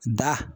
Da